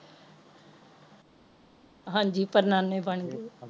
ਹਾਂਜੀ ਪੜ ਨਾਨੇ ਬਣ ਗਏ